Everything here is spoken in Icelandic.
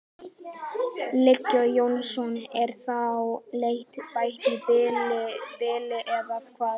Viggó Jónsson: Er þá leit hætt í bili eða hvað?